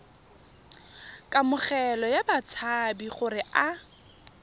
kamogelo ya batshabi gore a